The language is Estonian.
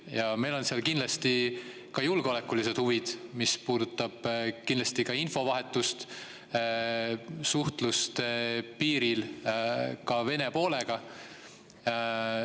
Ja meil on seal kindlasti ka julgeolekulised huvid, mis puudutab infovahetust, suhtlust piiril Vene poolega.